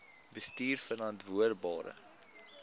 bestuurverantwoordbare